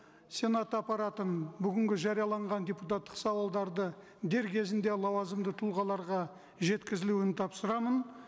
сенат аппаратының бүгінгі жарияланған депутаттық сауалдарды дер кезінде лауазымды тұлғаларға жеткізілуін тапсырамын